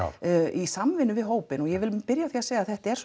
í samvinnu við hópinn og ég vil byrja á því að segja að þetta er